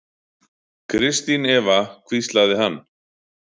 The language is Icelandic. Kristín Eva hvíslaði hann.